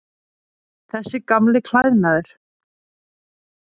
Þessi gamli klæðnaður.